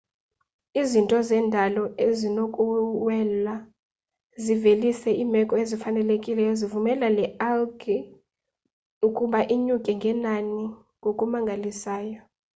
izinto zendalo zinokuwela zivelise iimeko ezifanelekileyo zivumela le algae ukuba inyuke ngenani ngokumangalisayo